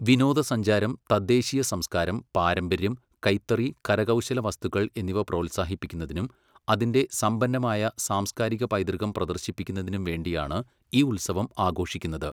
വിനോദസഞ്ചാരം, തദ്ദേശീയ സംസ്കാരം, പാരമ്പര്യം, കൈത്തറി, കരകൗശല വസ്തുക്കൾ എന്നിവ പ്രോത്സാഹിപ്പിക്കുന്നതിനും അതിന്റെ സമ്പന്നമായ സാംസ്കാരിക പൈതൃകം പ്രദർശിപ്പിക്കുന്നതിനും വേണ്ടിയാണ് ഈ ഉത്സവം ആഘോഷിക്കുന്നത്.